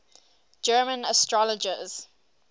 german astrologers